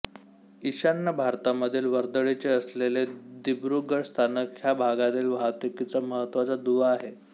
ईशान्य भारतामधील वर्दळीचे असलेले दिब्रुगढ स्थानक ह्या भागातील वाहतूकीचा महत्त्वाचा दुवा आहे